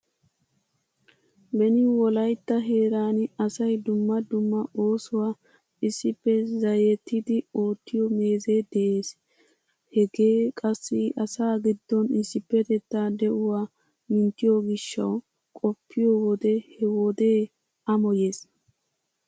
Beni Wolaytta heeran asay dumma dumma oosuwaa issippe zayyettidi oottiyoo meezee de'ees. Hegee qassi asaa giddon issippetettaa de'uwwa minttiyoo gishshawu, qoppiyo wode he wodee amoyees.